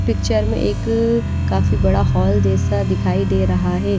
Picture में एक काफी बड़ा हॉल जैसा दिखाई दे रहा है।